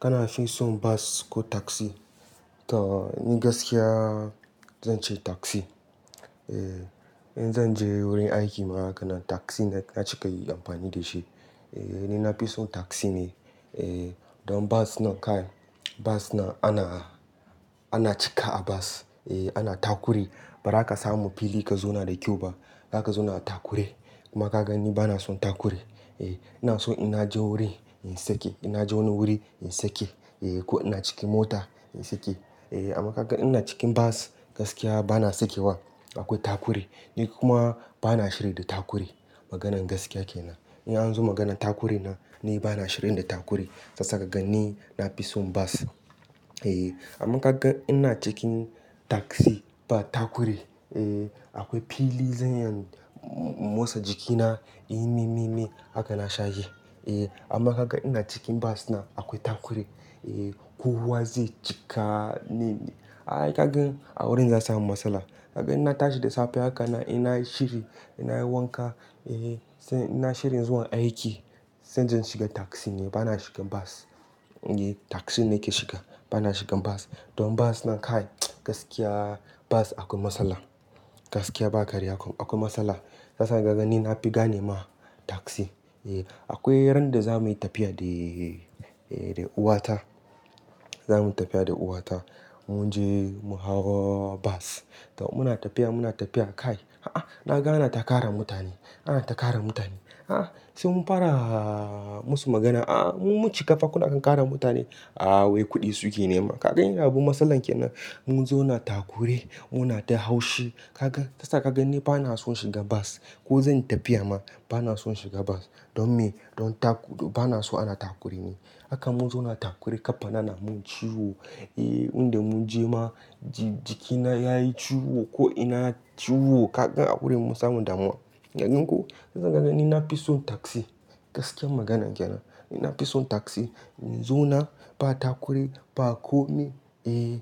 Kana fi son bas ko taksi? To ni gaskiya zan ce taksi. Eh, in zan je wurin aiki ma hakanan taksi na cika yi amfani da shi. Eh, ni na fi son taksi ne. Eh, don bus nan kai, bus nan ana, ana cika a bus. Eh, ana takure. Ba ra ka samu fili ka zauna da kyau ba. Za ka zauna takure. Kuma ka ga ni ba na son takure. Eh, ina so ina je wuri in sake, ina je wani wuri in sake. Eh, ko ina ciki mota in sake. Eh, amma ka ga ina cikin bus, gaskiya ba na sakewa. Akwai takure. Ni kuma ba na shiri da takure. Maganar gaskiya ke nan. In an zo maganar takure na, ni ba na shirin da takure. Sasa ka ga ni na fi son bus Eh, amma ka ga ina cikin taksi, ba takure. Eh, akwai fili zan iya motsa jikina. Yi mi mi mi. Haka na sha yi Eh, amma ka ga ina cikin bus nan, akwai takure. Eh, kowa zai cika ne. Ai kaga a wurin za samu matsala. Kaga ina tashi da safe haka na, ina shiri, ina yi wanka. Eh, sai ina shirin zuwa aiki, sai zan shiga taksi ne. Ba na shiga bus. Eh, taksi ne ke shiga. Ba na shiga bas. Don bus nan kai, gaskiya bus akwai matsala. Gaskiya ba karya kuma. Akwai matsala. Sasa ka ga ni na fi gane ma taksi. Eh, akwai ran da za muyi tafiya da, eh, da uwata. Za muyi tafiya da uwata. Mun je mu hau bas. To muna tafiya, muna tafiya kai. A'a, na ga ana ta kara mutane. Ana ta kara mutane. A'a, sai mun fara musu magana. A'a, mun cika fakuna kan kara mutane. A'a wai kuɗi suke nema. Kaga ina abu matsalar ke nan. Mun zo na takure. Muna ta haushi. Kaga, sasa ka ga ni ba na son shiga bus. Ko zanyi tafiya ma, ba na son shiga bus. Don me? Don taku-- ba na so ana takure ne. Haka mun zo na takure. Kafa na na mun ciwo. Eh, wanda mun je ma, ji-jikina ya yi ciwo. Ko ina ciwo. Kaga a wurin mun samu damuwa. Kaga ko, kaga kaga ni na fi son taksi. Gaskiyar magana ke nan. Ni na fi son taksi. In zo na, ba takure, ba kome. Eh,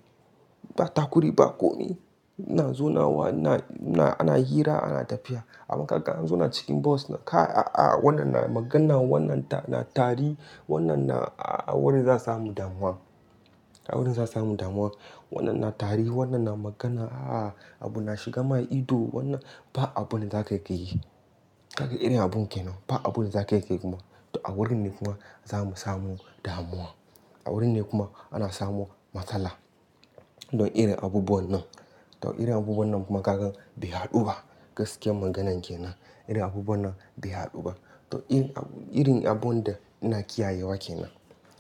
ba takure, ba kome. Na zo na wa, na, na, ana hira, ana tafiya. Amma kaga an zo na cikin bus kai, a'a wannan na magana, wannan na tari, wannan na a wurin za samu damuwa. A wurin za samu damuwa. Wannan na tari, wannan na magana. A'a, abu na shiga ma ido. Wannan ba abu ne za ka iya yi. Kaga irin abun ke nan. Ba abu ne za ka iya yi kuma. To a wurin ne kuma za mu samu damuwa. A wurin ne kuma ana samu matsala. Don ire abubuwan nan. To ire abubuwan nan kuma kaga bai haɗu ba. Gaskiyar maganan ke nan. Ire abubuwan nan bai haɗu ba. To irin abun da ina kiyaye wa ke nan.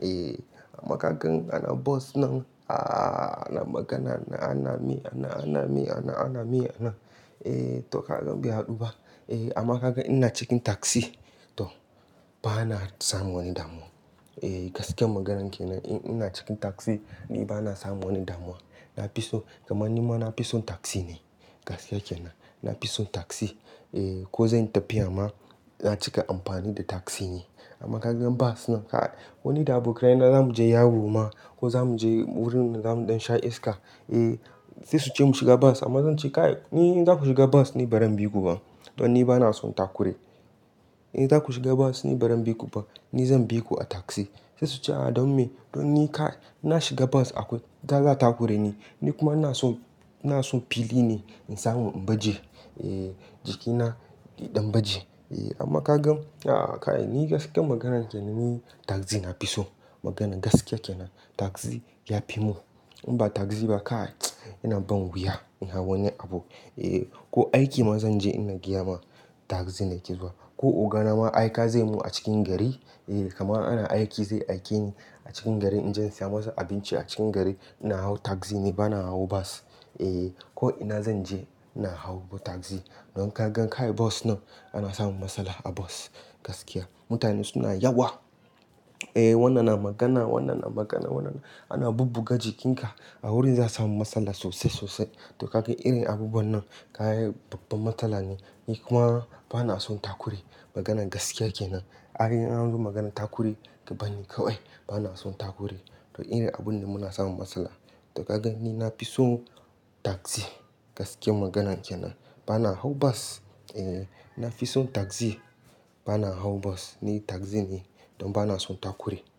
Eh, amma kagan ana bus nan, a'a, ana magana, ana mi, ana, ana mi, ana, ana mi, ana. Eh, to kaga bai haɗu ba. Eh, amma kaga ina cikin taksi, to ba na samun wani damuwa. Eh, gaskiyar maganan ke nan. In ina cikin taksi, ni ba na samun wani damuwa. Na fi son, kama ni ma na fi son taksi ne. Gaskiya ke nan. Na fi son taksi. Eh, ko zan tafiya ma, na cika amfani da taksi ne. Amma ka gan bus nan kai, koni da abokai na za mu je Yawo ma ko za mu je wurin da zamu don sha iska. Eh, sai su ce mu shiga bas amma zan ce, "Kai ni za ku shiga bus ni baran biku ba. Don ni ba na son takure. Eh, za ku shiga bas ni bari miku ba. Ni zan bi ku a taksi." Sai su ce, "A'a, don me?" Don ni kai, ina shiga bus akwai, ta za ta takure ni. Ni kuma ina son, ina son fili ne in samu in baje. Eh, jikina yadan baje. Eh, amma ka gan a'a kai ni gaskiyar maganan ke nan ni taksi na fi son. Maganar gaskiya ke nan. Taksi ya fi mun. In ba taksi ba kai, ina ban wuya in hau wani abu. Eh, ko aiki ma zan je ina gyama, taksi ne ke zuwa. Ko ogana ma aika zai mun a cikin gari. Eh, kama ana aiki zai aike ni a cikin gari in je in saya masa abinci a cikin gari, ina hau taksi ne, ba na hau bus. Eh, ko ina zan je, ina hau taksi. Don ka gan kai bus nan, ana samun matsala a bus. Gaskiya. Mutane suna yawa. Eh, wannan na magana, wannan na magana, wannan ana bubbuga jikinka. A wurin za samu matsala sosai sosai. To kaga irin abubuwan nan, kai babban matsala ne. Ni kuma ba na son takure. Maganar gaskiya ke nan. Ai in an zo maganar takure, ka barni kawai. Ba na son takure. To ire abun ne muna samun matsala. To kagan ni na fi son taksi. Gaskiyar maganan ke nan. Ba na hau bas. Eh, na fi son taksi. Ba na hau bas. Ni taksi ne. Don ba na son takure.